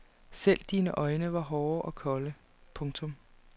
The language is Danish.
Selv dine øjne var hårde og kolde. punktum